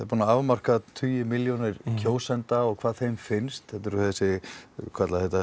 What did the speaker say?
búnir að afmarka tíu milljónir kjósenda og hvað þeim finnst þeir eru kallaðir